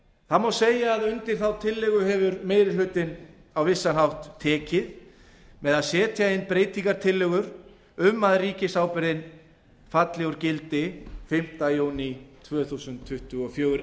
það má segja að undir þá tillögu hefur meiri hlutinn á vissan hátt tekið með því að setja inn breytingartillögur um að ríkisábyrgðin falli úr gildi fimmta júní tvö þúsund tuttugu og fjögur